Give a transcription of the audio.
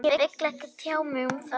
Ég vil ekki tjá mig um það